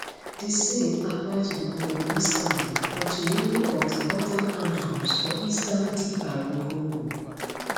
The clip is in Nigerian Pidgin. di same apply to di congolese army and to many of di oda armed groups for eastern dr congo